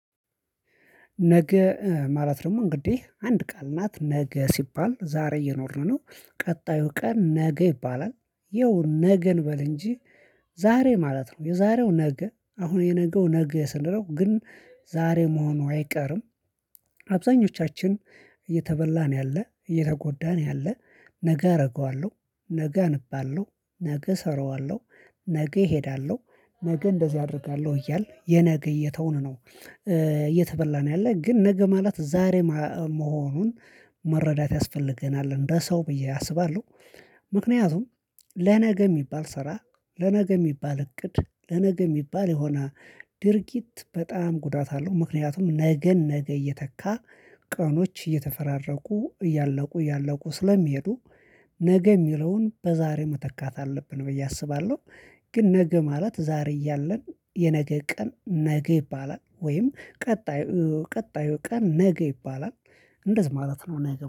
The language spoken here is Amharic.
ነገ ማለት ደግሞ እንግዲህ አንድ ቃል ናት ነገ ሲባል ዛሬ እየኖርን ነው ቀጣዩ ቀን ነገ ይባላል ይኸው ነገ እንበል እንጂ። ዛሬ ማለት ነው የዛሬው ነገ አሁን የነገው ነገ ስንል ነው ግን ዛሬ መሆኑ አይቀርም። አብዛኞቻችን እየተበላን ያለ እየተጎዳን ያለ ነገ አደርገዋለሁ ነገ አንብ አለው ነገ እሰራዋለሁ ነገ እሄዳለሁ ነገ እንደዚህ አደርጋለሁ እያልን የነገ እየተውን ነው። እየተበላን ነው ያለህ ግን ነገ ማለት ዛሬ መሆኑን መረዳት ያስፈልገናል እንደ ሰው ብዬ አስባለሁ። ምክንያቱም ለነገ የሚባል ስራ ለነገ የሚባል እቅድ ለነገ የሚባል የሆነ ድርጊት በጣም ጉዳት አለው። ምክንያቱም ነገን ነገ እየተካ ቀኖች እየተፈራረቁ እያለቁ እያለቁ ስለሚሄዱ። ነገ የሚለውን በዛሬ መተካት አለብን ብዬ አስባለሁ። ግን ነገ ማለት ዛሬ እያለን የነገ ቀን ነገ ይባላል ወይም ቀጣዩ ቀጣዩ ቀን ነገ ይባላል። እንደዚህ ማለት ነው ነገ